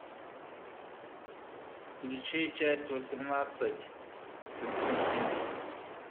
включи часть восемнадцать константин